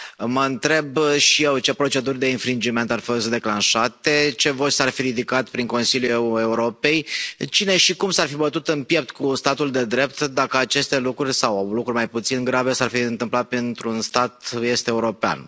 Mă întreb și eu ce proceduri de ar fi fost declanșate, ce voci s ar fi ridicat prin Consiliul Europei, cine și cum s ar fi bătut în piept cu statul de drept dacă aceste lucruri sau lucruri mai puțin grave s ar fi întâmplat într un stat est european.